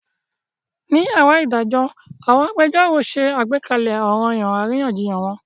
Ní yàrá ìdájọ́ àwọn agbẹjẹ́rọ̀ ṣe àgbékalẹ̀ ọranyan àríyànjiyàn wọn.